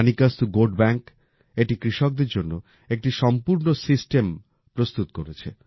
মানিকাস্তু goat bank এটি কৃষকদের জন্য একটি সম্পূর্ণ সিস্টেম প্রস্তুত করেছে